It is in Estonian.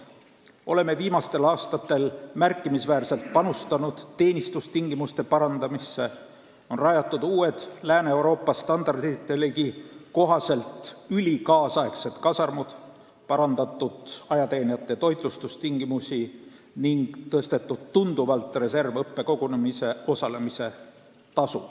Oleme viimastel aastatel märkimisväärselt parandanud teenistustingimusi: rajanud uued Lääne-Euroopa standarditelegi kohased, ülikaasaegsed kasarmud, parandanud ajateenijate toitlustustingimusi ning tõstnud tunduvalt reservõppekogunemisel osalemise tasu.